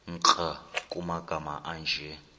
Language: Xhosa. nkr kumagama anje